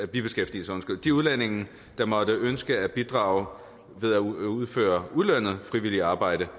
bibeskæftigelse de udlændinge der måtte ønske at bidrage ved at udføre ulønnet frivilligt arbejde